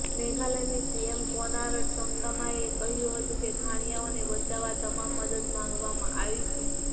મેઘાલયના CM Conrad સંગમાએ કહ્યું હતું કે ખાણિયાઓને બચાવવા તમામ મદદ માગવામાં આવી છે